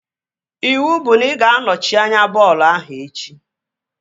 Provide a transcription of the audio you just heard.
Iwu bụ na ị ga anọchi anya bọọlụ ahụ echi!